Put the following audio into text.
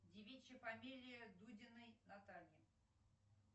девичья фамилия дудиной натальи